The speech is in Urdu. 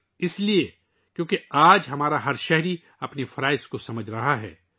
اس کی وجہ یہ ہے کہ آج ہمارا ہر شہری اپنے فرائض کا احساس کر رہا ہے